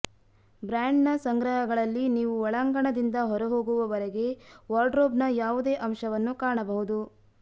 ಬ್ರ್ಯಾಂಡ್ನ ಸಂಗ್ರಹಗಳಲ್ಲಿ ನೀವು ಒಳಾಂಗಣದಿಂದ ಹೊರಹೋಗುವವರೆಗೆ ವಾರ್ಡ್ರೋಬ್ನ ಯಾವುದೇ ಅಂಶವನ್ನು ಕಾಣಬಹುದು